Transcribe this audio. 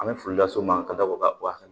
An bɛ foli las'u ma ka da o kan ka bɔ a kan